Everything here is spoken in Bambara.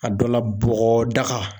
A dɔ la bɔgɔdaga